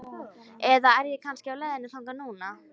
Eða er ég kannski á leiðinni þangað núna?